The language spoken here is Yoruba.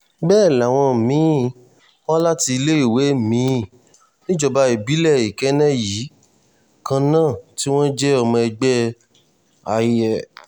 bẹ́ẹ̀ làwọn mi-ín wá láti iléèwé mi-ín níjọba ìbílẹ̀ ikẹne yìí kan náà tí wọ́n jẹ́ ọmọ ẹgbẹ́